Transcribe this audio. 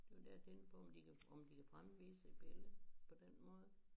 Det var det jeg tænkte på om de kan om de kan fremvise et billede på den måde